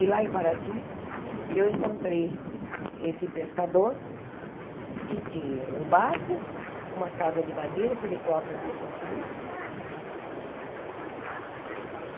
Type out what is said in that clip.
E lá em Paraty eu encontrei esse pescador que tinha o barco, uma casa de madeira que ele próprio havia construído.